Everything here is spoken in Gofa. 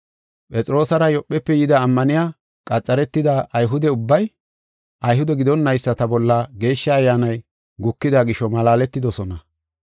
Phexroosara Yoophefe yida ammaniya qaxaretida Ayhude ubbay, Ayhude gidonnaysati bolla Geeshsha Ayyaanay gukida gisho malaaletidosona.